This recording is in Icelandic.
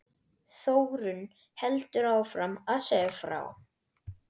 Þórunn heldur áfram að segja frá